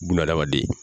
Bununa hadamaden